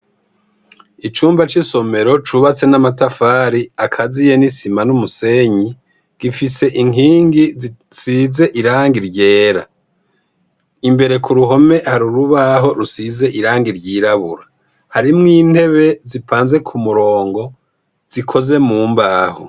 Icumba c'isomero cubatse n'amatafari akaziye nisima n'umusenyi, gifise inkingi zisize irangi ryera. Imbere kuruhome hari urubaho rusize irangi ry'irabura. Harimwo intebe zipanze kumurongo zikoze mu mbaho.